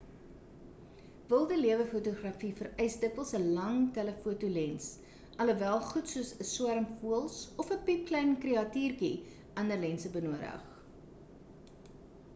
wilde lewe-fotografie vereis dikwels 'n lang telefoto lens alhoewel goed soos 'n swerm voëls of 'n piepklein kreatuurtjie ander lense benodig